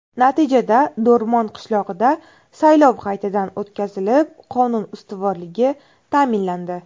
Natijada Do‘rmon qishlog‘ida saylov qaytadan o‘tkazilib, qonun ustuvorligi ta’minlandi.